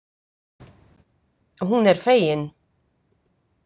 Hún er fegin.